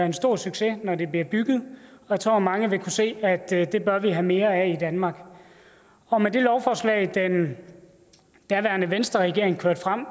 en stor succes når det er blevet bygget jeg tror at mange vil kunne se at det bør vi have mere af i danmark og med det lovforslag den daværende venstreregering kørte frem